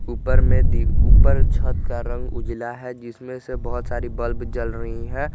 ऊपर में दी ऊपर छत का रंग उजाला है जिसमें से बहुत सारी बल्ब जल रही है।